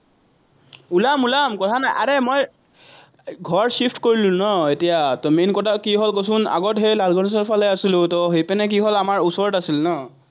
ওলাম ওলাম, কথা নাই, আৰে মই ঘৰ shift কৰিলো ন এতিয়া, main কথা কি হ'ল কচোন, আগত সেই লালগনেশৰফালে আছিলো, সেইপিনে কি হ'ল, ওচৰত আছিল ন।